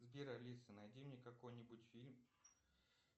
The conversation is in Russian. сбер алиса найди мне какой нибудь фильм